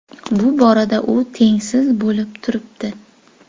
Bu borada u tengsiz bo‘lib turibdi.